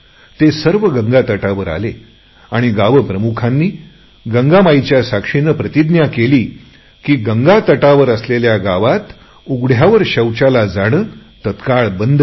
ते सर्वजण गंगेच्या किनाऱ्यावर आले आणि गावप्रमुखांनी गंगामातेच्या साक्षीने प्रतिज्ञा केली की गंगेच्या किनाऱ्यावर असलेल्या गावात उघड्यावर शौचाला जाणे तात्काळ बंद करतील